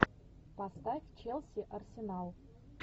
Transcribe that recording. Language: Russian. поставь челси арсенал